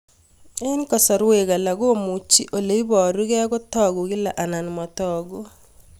Eng' kasarwek alak komuchi ole parukei kotag'u kila anan matag'u